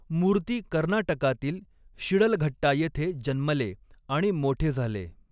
मूर्ती कर्नाटकातील शिडलघट्टा येथे जन्मले आणि मोठे झाले.